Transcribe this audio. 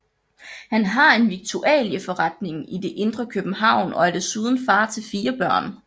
Han har en viktualieforretning i det indre København og er desuden far til fire børn